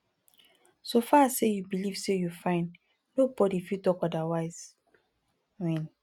so far say you believe say you fine nobody fit talk odirwise win